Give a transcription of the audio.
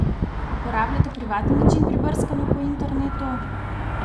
Uporabljate privatni način pri brskanju po internetu?